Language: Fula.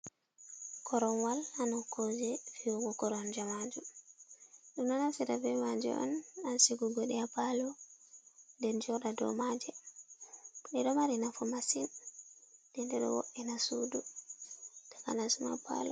Koruwal haa nokkoje fi’ugo koronje majum, ɗum ɗo naftira be maje on haa sigugo ɗe haa palo, nden joɗa do maje, ɗe ɗo mari nafu masin, nden ɗe ɗo wo’ena sudu takanas ma palo.